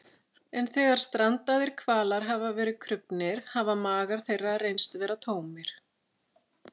En þegar strandaðir hvalir hafa verið krufnir hafa magar þeirra reynst vera tómir.